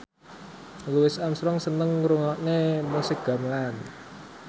Louis Armstrong seneng ngrungokne musik gamelan